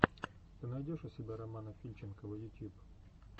ты найдешь у себя романа фильченкова ютьюб